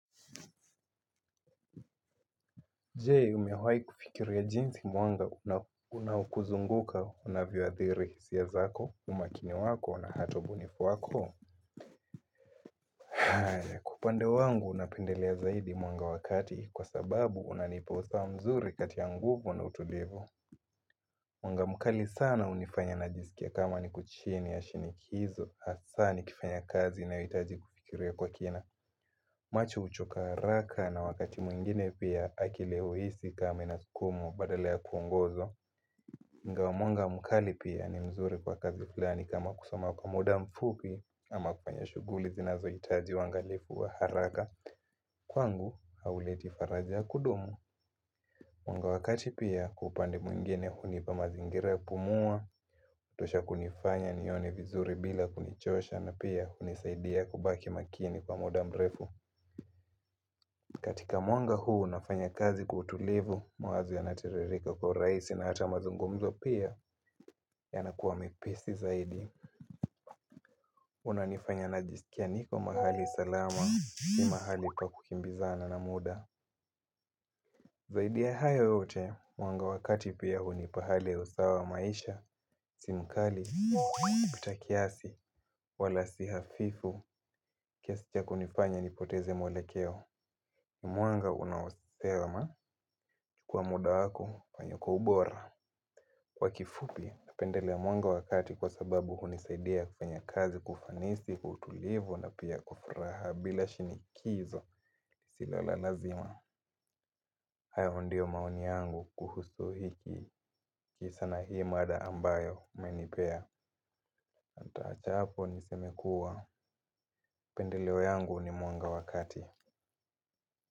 Je, umewahi kufikiria jinsi mwanga unaokuzunguka unavyoadhiri hisia zako, umakini wako na hata ubunifu wako. Kwa upande wangu napendelea zaidi mwanga wa kati kwa sababu unanipa usawa mzuri katia nguvu na utulivu. Mwanga mkali sana hunifanya najisikia kama niko chini ya shinikizo, hasa nikifanya kazi inayohitaji kufikiria ya kwa kina. Macho huchoka haraka na wakati mwingine pia akili huhisi kama inasukumwa badala ya kuongoza. Nga wa mwanga mkali pia ni mzuri kwa kazi fulani kama kusoma kwa muda mfupi ama kufanya shughuli zinazohitaji waangalifu wa haraka. Kwangu, hauleti faraja ya kudumu. Mwanga wakati pia wa upande mwingine hunipa mazingira ya pumua, hutosha kunifanya nione vizuri bila kunichosha na pia hunisaidia kubaki makini kwa muda mrefu. Katika mwanga huu nafanya kazi kwa utulivu, mawazo yanatiririka kwa urahisi na hata mazungumzo pia yanakuwa mepesi zaidi. Unanifanya najisikia niko mahali salama si mahali pa kukimbizana na muda. Zaidi ya haya yote, mwanga wa kati pia hunipa hali ya usawa wa maisha, si mkali, kupita kiasi, wala si hafifu, kiasi ya kunifanya nipoteze mwlekeo. Mwanga unaosema kwa muda wako wenye uko ubora Kwa kifupi, napendelea mwanga wa kati kwa sababu hunisaidia kufanya kazi kwa ufanisi, kwa utulivu na pia kwa furaha bila shinikizo Silo la lazima, hayo ndio maoni yangu kuhusu hiki kisa na hii mada ambayo mmenipea nitaacha apo niseme kua, pendeleo yangu ni mwanga wa kati.